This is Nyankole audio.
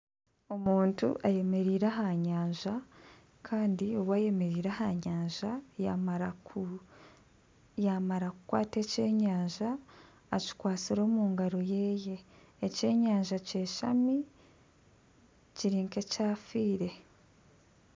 Omuntu ayemereire aha nyanja, kandi obu ayemereire aha nyanja, yamara ku yaamara kukwata ekyenyanja. Akikwatsire omu ngaro ye. Ekyenyanja kyashami kiri nk'ekyafiire.